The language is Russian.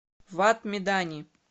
вад медани